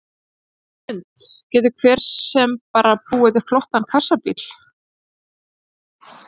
Hrund: Getur hver sem bara búið til flottan kassabíl?